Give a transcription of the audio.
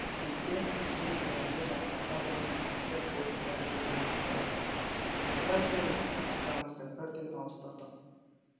кезде өз қолыңды жарақаттап алатын сәттер бокста жиі болып тұрады осыдан кейін тактикамызды бірден ауыстырдық